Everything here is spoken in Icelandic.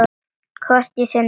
Hvort ég sé norn.